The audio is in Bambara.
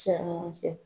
Caman fɛ